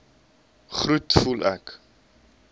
groet voel ek